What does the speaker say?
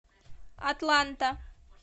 атланта